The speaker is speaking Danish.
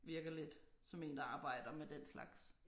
Virker lidt som én der arbejder med den slags